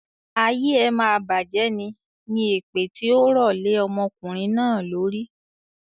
"Ayé ẹ máa bajẹ̀ ní" ni èpè tí ó rọ lè ọmọkùnrin náà lórí.